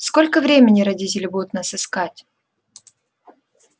сколько времени родители будут нас искать